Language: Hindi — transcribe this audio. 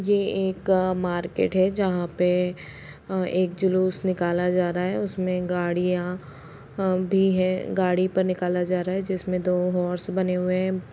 ये एक मार्केट है। जहाँ पे अ एक जुलुस निकाला जा रहा है। उसमे गाड़ियां अ भी है। गाड़ी पर निकाला जा रहा है। जिसमें दो हॉर्स बने हुए हैं।